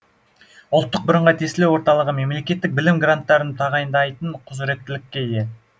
ұлттық бірыңғай тестілеу орталығы мемлекеттік білім гранттарын тағайындайтын құзыреттілікке ие